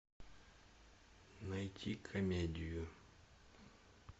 найти комедию